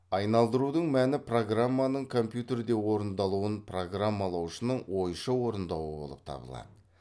айналдырудың мәні программаның компьютерде орындалуын программалаушының ойша орындауы болып табылады